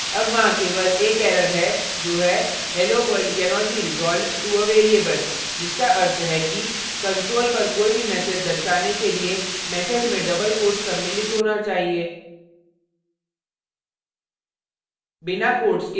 अब वहाँ केवल एक error है जो है hello world cannot be resolved to a variable जिसका अर्थ है कि console पर कोई भी message दर्शाने के लिए message में double quotes सम्मिलित होना चाहिए